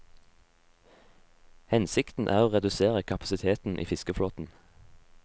Hensikten er å redusere kapasiteten i fiskeflåten.